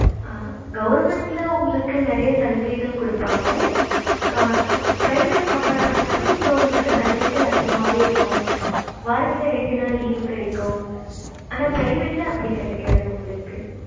government உங்களுக்கு நெறைய சலுகைகள் குடுப்பாங்க private compare பன்ற அப்ப உங்களுக்கு சலுகைகள் அதிகமாவே இருக்கும் வாரத்துல ரெண்டு நாள் leave கிடைக்கும் ஆனா private அப்படி கிடைக்காது உங்களுக்கு